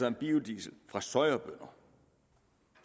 om biodiesel fra sojabønner